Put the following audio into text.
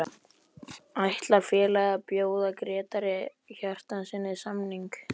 Ætlar félagið að bjóða Grétari Hjartarsyni samning?